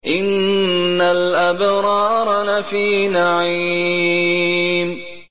إِنَّ الْأَبْرَارَ لَفِي نَعِيمٍ